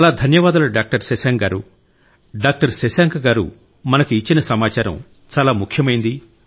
చాలా ధన్యవాదాలు డాక్టర్ శశాంక్ గారూ డాక్టర్ శశాంక్ గారు మనకు ఇచ్చిన సమాచారం చాలా ముఖ్యమైంది